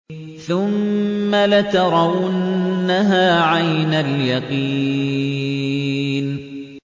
ثُمَّ لَتَرَوُنَّهَا عَيْنَ الْيَقِينِ